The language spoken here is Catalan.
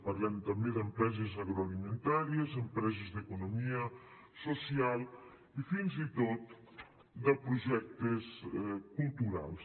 parlem també d’empreses agroalimentàries empreses d’economia social i fins i tot de projectes culturals